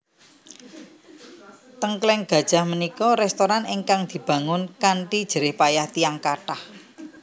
Tengkleng Gajah menika restoran ingkang dibangun kanthi jerih payah tiyang kathah